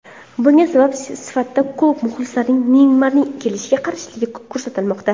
Bunga sabab sifatida klub muxlislarining Neymarning kelishiga qarshiligi ko‘rsatilmoqda.